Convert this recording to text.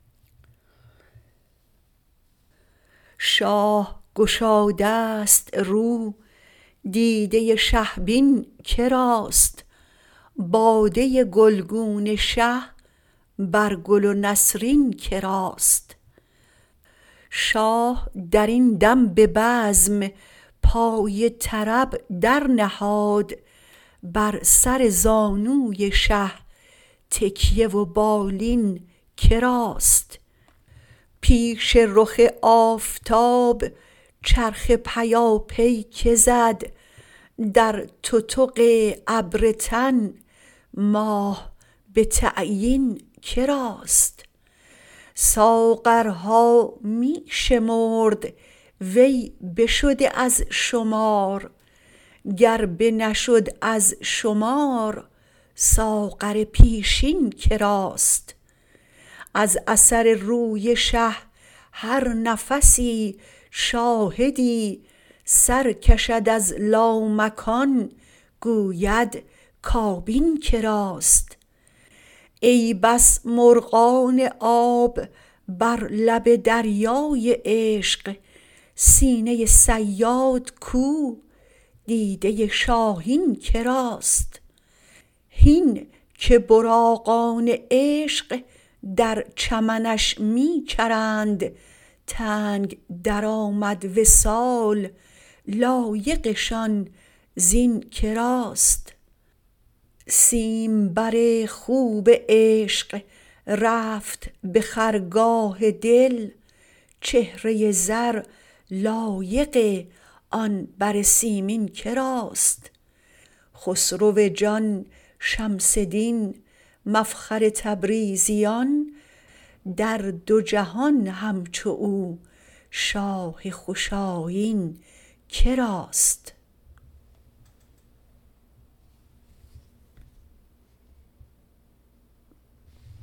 شاه گشادست رو دیده شه بین که راست باده گلگون شه بر گل و نسرین که راست شاه در این دم به بزم پای طرب درنهاد بر سر زانوی شه تکیه و بالین که راست پیش رخ آفتاب چرخ پیاپی کی زد در تتق ابر تن ماه به تعیین که راست ساغرها می شمرد وی بشده از شمار گر بنشد از شمار ساغر پیشین که راست از اثر روی شه هر نفسی شاهدی سر کشد از لامکان گوید کابین که راست ای بس مرغان آب بر لب دریای عشق سینه صیاد کو دیده شاهین که راست هین که براقان عشق در چمنش می چرند تنگ درآمد وصال لایقشان زین که راست سیمبر خوب عشق رفت به خرگاه دل چهره زر لایق آن بر سیمین که راست خسرو جان شمس دین مفخر تبریزیان در دو جهان همچو او شاه خوش آیین که راست